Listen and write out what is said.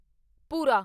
ਭੂਰਾ